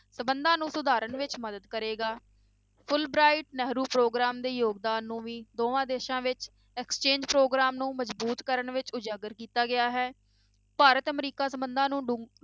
ਸੰਬੰਧਾਂ ਨੂੰ ਸੁਧਾਰਨ ਵਿੱਚ ਮਦਦ ਕਰੇਗਾ fulbright ਨਹਿਰੂ ਪ੍ਰੋਗਰਾਮ ਦੇ ਯੋਗਦਾਨ ਨੂੰ ਵੀ ਦੋਵਾਂ ਦੇਸਾਂ ਵਿੱਚ exchange ਪ੍ਰੋਗਰਾਮ ਨੂੰ ਮਜ਼ਬੂਤ ਕਰਨ ਵਿੱਚ ਉਜਾਗਰ ਕੀਤਾ ਗਿਆ ਹੈ, ਭਾਰਤ ਅਮਰੀਕਾ ਸੰਬੰਧਾਂ ਨੂੰ ਡੂੰ~